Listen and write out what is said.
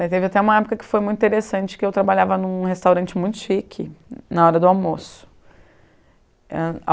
Daí teve até uma época que foi muito interessante, que eu trabalhava em um restaurante muito chique na hora do almoço. Ãh